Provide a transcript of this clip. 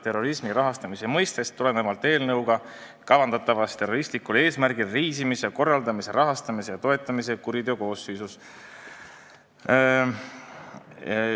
Terrorismi rahastamise all mõistetakse eelnõu kohaselt ka terroristlikul eesmärgil reisimise korraldamist ja toetamist karistusseadustiku tähenduses.